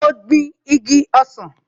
Mo gbin igi ọsàn náà